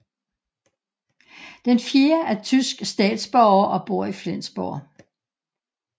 Den fjerde er tysk statsborger og bor i Flensborg